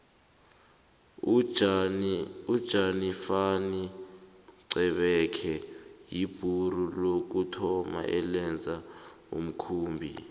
ujanifani xebekhe yibhuru lokuthoma elenza umkhumbi